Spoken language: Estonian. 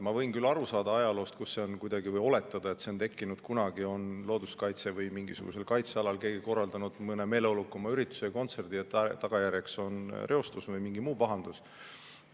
Ma võin küll aru saada ajaloost või oletada, et see on tekkinud kunagi, kui keegi on kuskil looduskaitse- või mingisugusel kaitsealal korraldanud mõne meeleolukama ürituse, näiteks kontserdi, mille tagajärjeks on olnud reostus või mingi muu pahandus.